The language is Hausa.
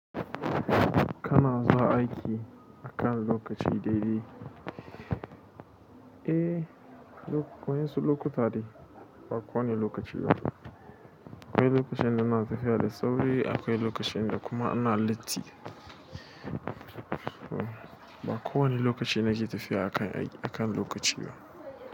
Kana zuwa aiki akan lokaci dai dai? Eh, wa'en su lokuta ne, ba kowane lokaci ba. Akwai lokacin da na tafiya da sauri, akwai lokacin da kuma ina latti. Ba kowane lokaci na ke tafiya akan, akan lokaci ba.